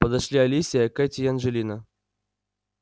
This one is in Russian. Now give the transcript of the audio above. подошли алисия кэти и анджелина